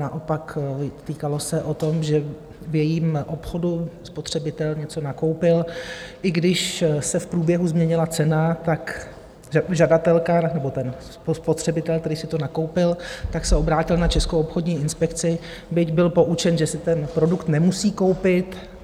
Naopak, týkalo se to toho, že v jejím obchodu spotřebitel něco nakoupil, i když se v průběhu změnila cena, tak žadatelka, nebo ten spotřebitel, který si to nakoupil, tak se obrátil na Českou obchodní inspekci, byť byl poučen, že si ten produkt nemusí koupit.